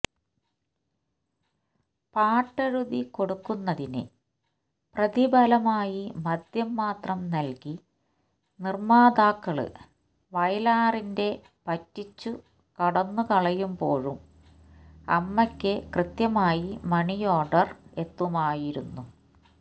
പാട്ടെഴുതി കൊടുക്കുന്നതിന് പ്രതിഫലമായി മദ്യം മാത്രം നല്കി നിര്മാതാക്കള് വയലാറിന്റെ പറ്റിച്ചു കടന്നു കളയുമ്പോഴും അമ്മയ്ക്ക് കൃത്യമായി മണിയോര്ഡര് എത്തുമായിരുന്നു